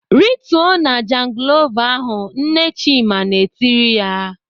"Rituo na jangilova ahụ!" Nne Chima na-etiri ya.